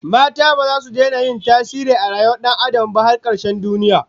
Mata baza su daina yin tasiri a rayuwar Dan Adam ba har karshen duniya